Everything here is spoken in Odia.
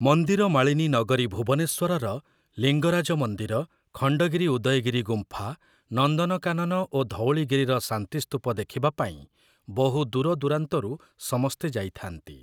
ମନ୍ଦିର ମାଳିନୀ ନଗରୀ ଭୁବନେଶ୍ଵରର ଲିଙ୍ଗରାଜ ମନ୍ଦିର, ଖଣ୍ଡଗିରି-ଉଦୟଗିରି ଗୁମ୍ଫା, ନନ୍ଦନକାନନ ଓ ଧଉଳିଗିରିର ଶାନ୍ତି ସ୍ତୂପ ଦେଖିବା ପାଇଁ ବହୁ ଦୂରଦୂରାନ୍ତରୁ ସମସ୍ତେ ଯାଇଥାନ୍ତି ।